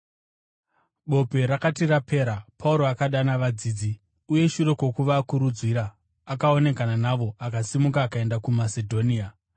Bope rakati rapera, Pauro akadana vadzidzi, uye shure kwokuvakurudzira, akaonekana navo akasimuka akaenda kuMasedhonia.